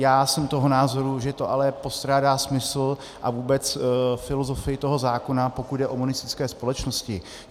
Já jsem toho názoru, že to ale postrádá smysl a vůbec filozofii toho zákona, pokud jde o monistické společnosti.